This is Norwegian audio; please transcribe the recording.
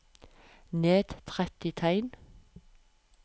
Ned tretti tegn